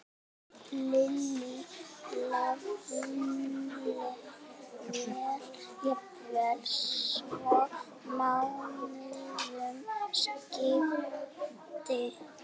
Lillý: Jafnvel svo mánuðum skipti?